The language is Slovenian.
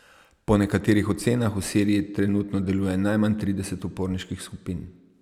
Po nekaterih ocenah v Siriji trenutno deluje najmanj trideset uporniških skupin.